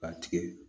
K'a tigɛ